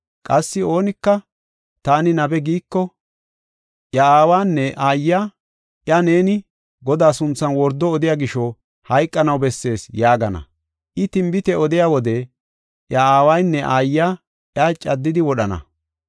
Qassi oonika, taani nabe giiko, iya aawanne aayiya iya, ‘Neeni Godaa sunthan wordo odiya gisho, hayqanaw bessees’ yaagana. I tinbite odiya wode iya aawaynne aayiya iya caddidi wodhana.